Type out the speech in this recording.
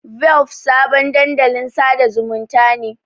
Velp sabon dandalin sada zumunta ne.